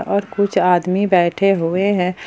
और कुछ आदमी बैठे हुए हैं।